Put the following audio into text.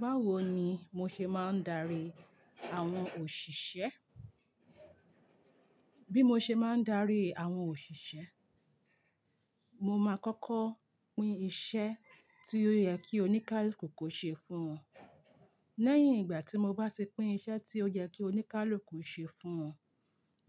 Báwo ni mo ṣe máa ń darí àwọn òṣìṣẹ́? Bí mo ṣe máa ń darí àwọn òṣìṣẹ́, mo máa kọ́kọ́ pín iṣẹ́ tí ó yẹ kí oníkálukú kò ṣe fún wọn. Lẹ́yìn ìgbà tí mo bá ti pín iṣẹ́ tí ó yẹ kí oníkálukú ṣe fún wọn,